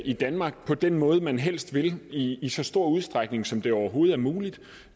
i danmark på den måde man helst vil i i så stor udstrækning som det overhovedet er muligt